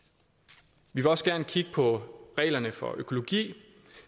vi vil også gerne kigge på reglerne for økologi